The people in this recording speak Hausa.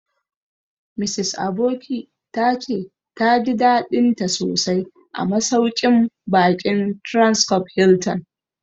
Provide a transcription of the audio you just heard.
Mrs Aboki ta ce ta ji daɗinta sosai a masauƙin baƙin Transcorp Hilton